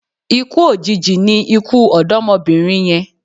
Ikú òjijì ni ikú ọ̀dọ́mọbìnrin yẹn